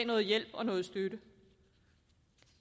noget hjælp og noget støtte